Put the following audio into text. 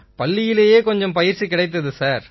பள்ளியிலேயே கொஞ்சம் பயிற்சி கிடைத்தது சார்